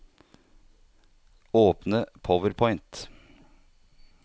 Åpne PowerPoint